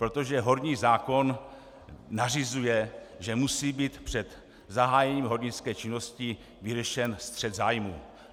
Protože horní zákon nařizuje, že musí být před zahájením hornické činnosti vyřešen střet zájmů.